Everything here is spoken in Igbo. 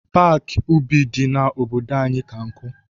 Paaki ubi dị n'obodo anyị ka nkụ.